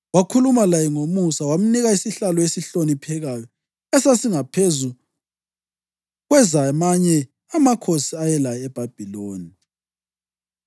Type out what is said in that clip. Wakhuluma laye ngomusa, wamnika isihlalo esihloniphekayo esasingaphezu kwezamanye amakhosi ayelaye eBhabhiloni.